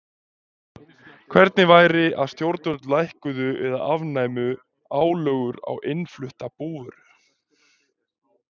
Hvernig væri að stjórnvöld lækkuðu eða afnæmu álögur á innflutta búvöru?